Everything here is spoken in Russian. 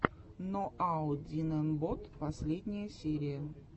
ноаодинэмбот последняя серия